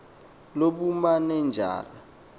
lobumanenjara